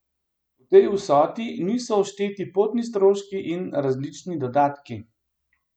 V tej vsoti niso všteti potni stroški in različni dodatki.